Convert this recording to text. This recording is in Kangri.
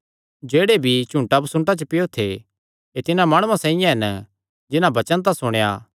जेह्ड़े बीई झुड़ांबसुन्टां च पैयो थे एह़ तिन्हां माणुआं साइआं हन जिन्हां वचन तां सुणेया